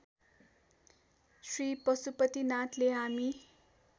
श्री पशुपतिनाथले हामी